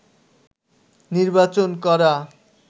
নির্বাচন করা